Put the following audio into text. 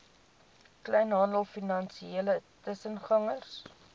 kleinhandel finansiële tussengangers